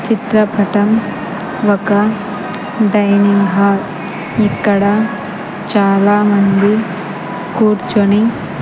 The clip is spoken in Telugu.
చిత్రపటం ఒక డైనింగ్ హాల్ ఇక్కడ చాలామంది కూర్చొని--